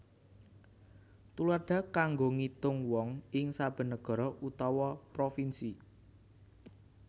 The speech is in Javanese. Tuladha kanggo ngitung wong ing saben negara utawa provinsi